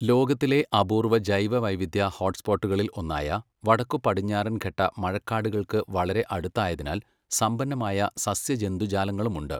ലോകത്തിലെ അപൂർവ ജൈവവൈവിധ്യ ഹോട്ട്സ്പോട്ടുകളിൽ ഒന്നായ വടക്കുപടിഞ്ഞാറൻഘട്ട മഴക്കാടുകൾക്ക് വളരെ അടുത്തായതിനാൽ സമ്പന്നമായ സസ്യജന്തുജാലങ്ങളുമുണ്ട്.